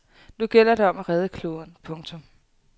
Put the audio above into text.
Nu gælder det om at redde kloden. punktum